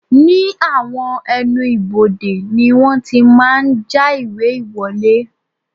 Ní àwọn ẹnu ibodè ni wọ́n ti máa ń já ìwé ìwọlé